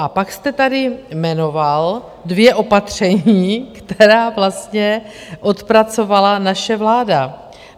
A pak jste tady jmenoval dvě opatření, která vlastně odpracovala naše vláda.